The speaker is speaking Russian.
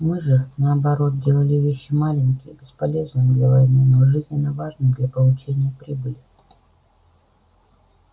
мы же наоборот делали вещи маленькие бесполезные для войны но жизненно важные для получения прибыли